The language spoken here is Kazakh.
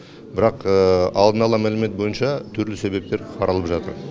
бірақ алдын ала мәлімет бойынша түрлі себептер қаралып жатыр